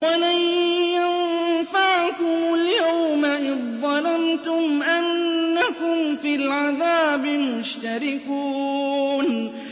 وَلَن يَنفَعَكُمُ الْيَوْمَ إِذ ظَّلَمْتُمْ أَنَّكُمْ فِي الْعَذَابِ مُشْتَرِكُونَ